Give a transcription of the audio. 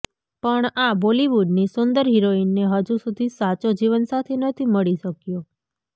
પણ આ બોલીવુડની સુંદર હિરોઈનને હજુ સુધી સાચો જીવન સાથી નથી મળી શક્યો